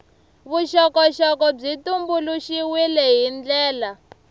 vuxokoxoko byi tumbuluxiwile hi ndlela